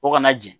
O kana jɛ